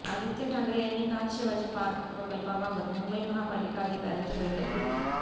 आदित्य ठाकरे यांनी काल शिवाजी पार्क प्रकल्पाबाबत मुंबई महापालिका अधिकाऱ्यांची बैठक घेतली